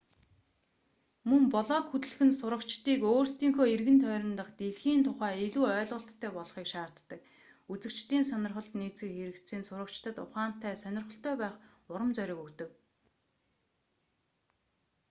мөн блог хөтлөх нь сурагчдыг өөрсдийнхөө эргэн тойрон дахь дэлхийн тухай илүү ойлголттой болохыг шаарддаг". үзэгчдийн сонирхолд нийцэх хэрэгцээ нь сурагчдад ухаантай сонирхолтой байх урам зориг өгдөг тото 2004